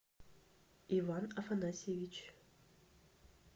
иван афанасьевич